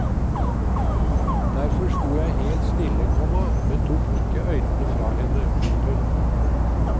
Derfor stod jeg helt stille, komma men tok ikke øynene fra henne. punktum